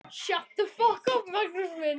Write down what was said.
Þegiðu nú, Magnús minn, sagði amma.